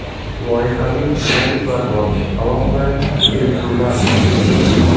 Loyihaviy bonuslar bor, alohida kelishuvlar bor.